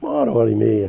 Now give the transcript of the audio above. Uma hora, uma hora e meia.